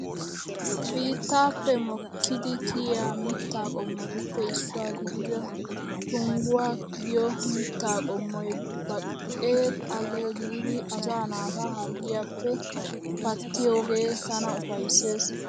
Biittaappe mokkidi kiyiyaa mittaa qommotuppe issuwa gidida tungguwa giyo mittaa qommoy baqe xale giididi asaa naata harggiyaappe pattiyoge tana ufayisses.